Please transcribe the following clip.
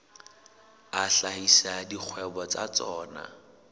a hlahisa dikgwebo tsa tsona